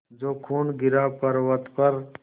जो खून गिरा पवर्अत पर